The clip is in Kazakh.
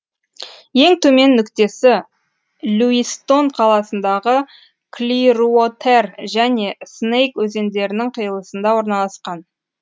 ең төмен нүктесі льюистон қаласындағы клируотер және снейк өзендерінің қиылысында орналасқан